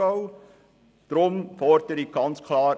Deswegen fordere ich ganz klar: